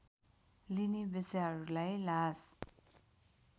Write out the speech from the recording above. लिने वेश्याहरूलाई लास